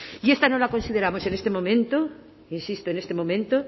y esta no la consideramos en este momento insisto en este momento